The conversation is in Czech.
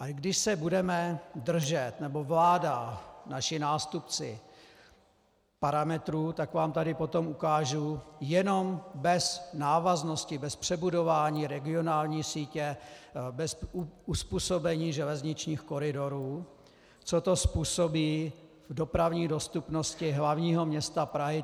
A když se budeme držet, nebo vláda, naši nástupci, parametrů, tak vám tady potom ukážu jenom bez návaznosti, bez přebudování regionální sítě, bez uzpůsobení železničních koridorů, co to způsobí v dopravní dostupnosti hlavního města Prahy.